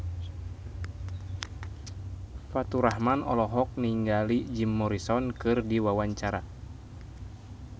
Faturrahman olohok ningali Jim Morrison keur diwawancara